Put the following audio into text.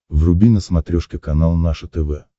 вруби на смотрешке канал наше тв